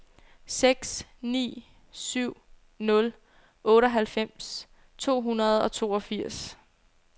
seks ni syv nul otteoghalvfems to hundrede og toogfirs